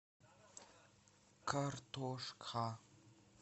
картошка